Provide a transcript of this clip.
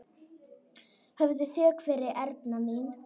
Hafðu þökk fyrir, Erna mín.